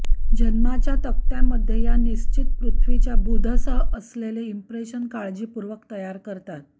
जन्माच्या तक्त्यामध्ये या निश्चित पृथ्वीच्या बुधसह असलेले इंप्रेशन काळजीपूर्वक तयार करतात